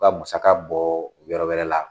Ka musaga bɔ yɔrɔ wɛrɛ la.